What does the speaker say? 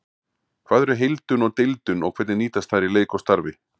Hvað eru heildun og deildun og hvernig nýtast þær í leik og starfi?